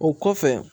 O kɔfɛ